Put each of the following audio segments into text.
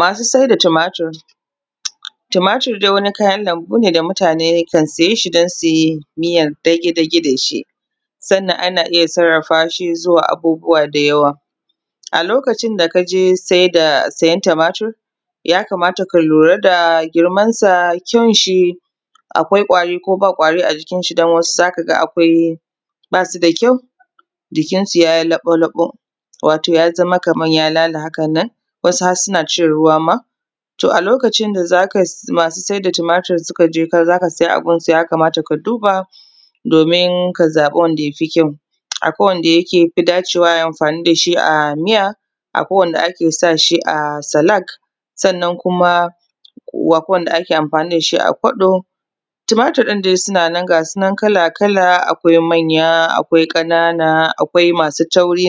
Masu sai da tumatur. Tumatur dai wani kayan lambu ne da mutane kan siye shi don su yi miya dage dage da shi, sannan ana iya sarrafa shi zuwa abubuwa da yawa. A lokacin da ka je sai da, sayen tumatur, ya kamata ka lura da girmansa, kyanshi, akwai ƙwari ko ba ƙwari a jikinshi don wasu za ka ga akwai, ba su da kyau, jikinsu ya yi laɓo laɓo, wato ya zama kaman ya lala haka nan, wasu har suna cin ruwa ma. To a lokacin da za ka, masu sai da tumatur suka je ka za ka siya a gunsu ya kamata ka duba domin ka zaɓi wanda ya fi kyau. Akwai wanda yake ya fi dacewa a yi amfani da shi a miya, akwai wanda ake sa shi a salak, sannan kuma wanda ake amfani da shi a kwaɗo. Tumatur ɗin dai ga su nan kala kala, akwai manya, akwai ƙanana, akwai masu tauri,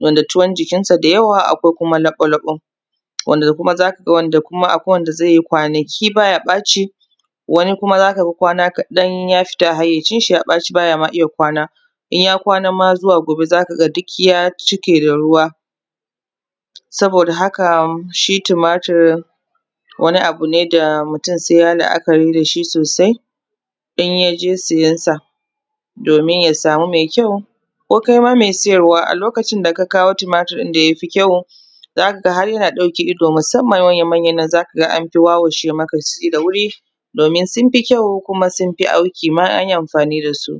wanda tuwon jikinsu da yawa, akwai kuma laɓo laɓo, wanda kuma za ka ga, wanda kuma akwai wanda zai yi kwanaki ba ya ɓaci, wani kuma za ka ga wana kaɗan ya fita hayyacinshi, ya ɓaci, bay a ma iya kwana. In ya kwana ma zuwa gobe za ka ga duk ya cike da ruwa. Saboda haka shi tumatur, wani abu ne da mutum sai ya yi la’akari da shi sosai in ya je siyansa, domin ya samu mai kyau. Ko kai ma siyarwa, a lokacin da ka kawo tumatur ɗin da ya fi kyau, za ka ga har yana ɗauke ido, musamman manya manyan nan, za ka ga an fi wawashe maka shi da wuri, domin sun fi kyau kuma sun fi auki ma in an yi amfani da su.